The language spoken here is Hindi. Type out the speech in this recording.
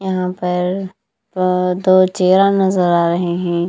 यहां पर आ दो चेहरा नजर आ रहे हैं।